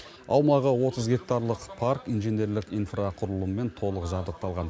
аумағы отыз гектарлық парк инженерлік инфрақұрылыммен толық жабдықталған